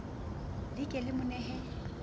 le ke le mo nehe